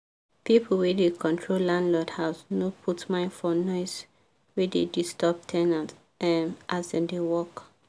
pipu wey da control landlord house no put mind for noise we da disturb ten ant um as dem da work